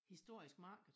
Historisk markede